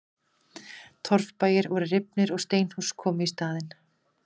Torfbæir voru rifnir og steinhús komu í staðinn.